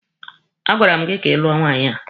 A gwara m gị ka ị lụọ nwaanyị a!